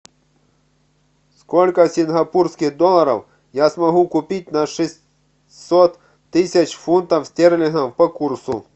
сколько сингапурских долларов я смогу купить на шестьсот тысяч фунтов стерлингов по курсу